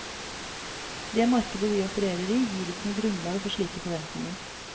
Det markedet vi opererer i gir ikke noe grunnlag for slike forventninger.